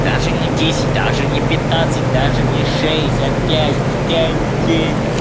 даже не десять даже не пятнадцать даже не шесть а пять пять